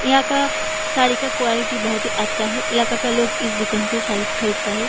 यहाँ का साड़ी का क़्वालिटी बहुत ही अच्छा है इलाका का लोग इस दुकान से साड़ी खरीदता है।